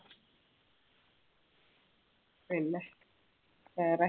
പിന്നെ വേറെ